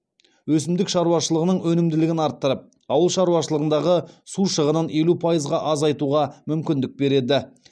өсімдік шаруашылығының өнімділігін арттырып ауыл шаруашылығындағы су шығынын елу пайызға азайтуға мүмкіндік береді